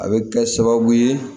A bɛ kɛ sababu ye